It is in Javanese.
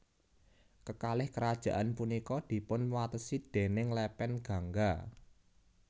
Kekalih kerajaan punika dipun watesi déning lepen Gangga